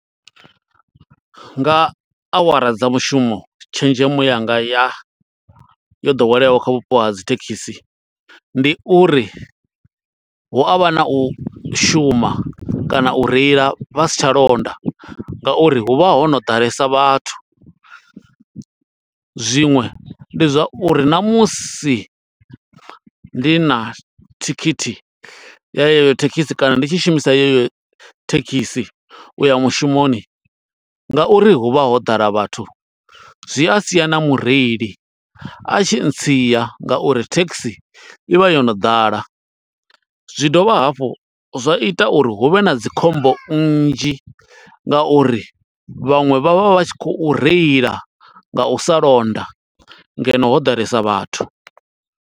Nga awara dza mushumo tshenzhemo yanga ya, yo ḓoweleaho kha vhupo ha dzi thekhisi, ndi uri hu avha na u shuma, kana u reila vha si tsha londa nga uri hu vha ho no ḓalesa vhathu. Zwiṅwe ndi zwa uri na musi ndi na thikhithi ya yeyo thekhisi, kana ndi tshi shumisa yeyo thekhisi u ya mushumoni, nga uri hu vha ho ḓala vhathu, zwi a sia na mureili a tshi ntsia, nga uri thekhisi i vha yo no ḓala. Zwi dovha hafhu zwa ita uri huvhe na dzi khombo nnzhi, nga uri vhaṅwe vha vha vha tshi khou reila nga u sa londa. ngeno ho ḓalesa vhathu.